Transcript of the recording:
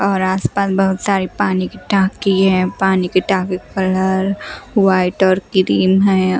और आस पास बहुत सारी पानी की टंकी है पानी की टंकी कलर व्हाइट और ग्रीन है।